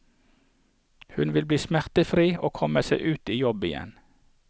Hun ville bli smertefri og komme seg ut i jobb igjen.